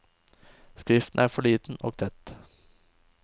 Skriften er for liten og tett.